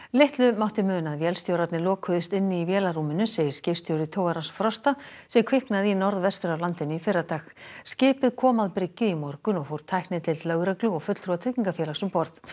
litlu mátti muna að vélstjórarnir lokuðust inni í vélarrúminu segir skipstjóri togarans Frosta sem kviknaði í norðvestur af landinu í fyrradag skipið kom að bryggju í morgun og fór tæknideild lögreglunnar og fulltrúar tryggingafélags um borð